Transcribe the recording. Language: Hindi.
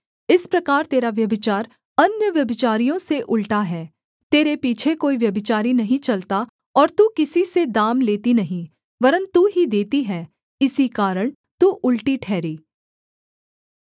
इस प्रकार तेरा व्यभिचार अन्य व्यभिचारियों से उलटा है तेरे पीछे कोई व्यभिचारी नहीं चलता और तू किसी से दाम लेती नहीं वरन् तू ही देती है इसी कारण तू उलटी ठहरी